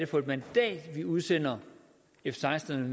for et mandat vi udsender f seksten